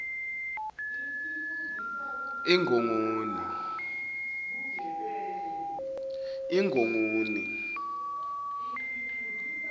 ingongoni